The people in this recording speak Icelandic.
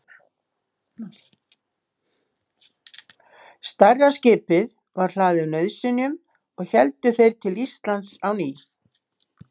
Stærra skipið var hlaðið nauðsynjum og héldu þeir til Íslands á ný.